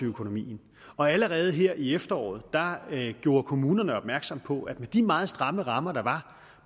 økonomien allerede her i efteråret gjorde kommunerne opmærksom på at med de meget stramme rammer der var